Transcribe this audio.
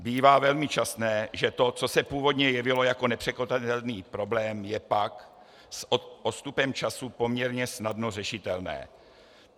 Bývá velmi časté, že to, co se původně jevilo jako nepřekonatelný problém, je pak s odstupem času poměrně snadno řešitelné.